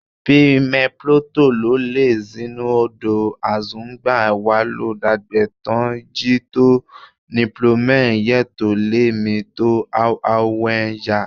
Be mẹplọntọ lọ lẹ zinnudo azọngban walọ dagbe tọn ji to nuplọnmẹ yetọn lẹ mẹ to hohowhenu ya?